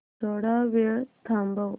थोडा वेळ थांबव